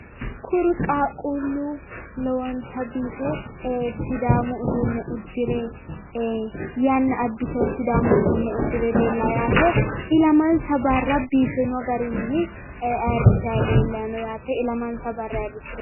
Kuri qaaquullu lowonta biife sidaamu uduunne uddire yanna abbitewo sidaamu uduunne uddire leellawo yaate ilamansa barra ayirrinsanni afamanno yaate.